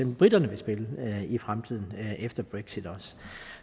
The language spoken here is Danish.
briterne vil spille i fremtiden efter brexit